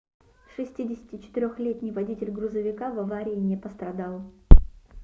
64-летний водитель грузовика в аварии не пострадал